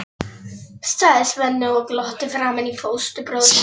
sagði Svenni og glotti framan í fóstbróður sinn.